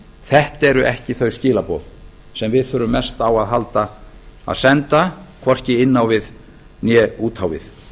þetta eru ekki þau skilaboð sem við þurfum mest á að halda að senda hvorki inn á við né út á við